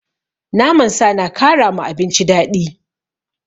Naman sa na kara ma abinci daɗi.